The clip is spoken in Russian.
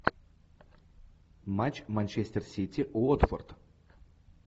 матч манчестер сити уотфорд